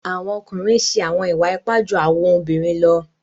Awọn ọkunrin ǹ ṣe awọn iwa-ipa ju awọn obirin lọ.